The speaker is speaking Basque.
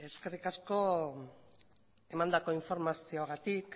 eskerrik asko emandako informazioarengatik